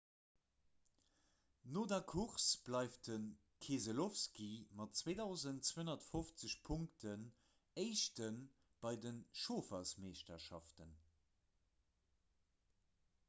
no der course bleift de keselowski mat 2 250 punkten éischte bei der chauffermeeschterschaft